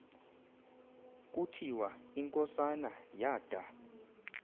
kuthiwa inkosana yada